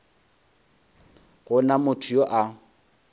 go na motho yo a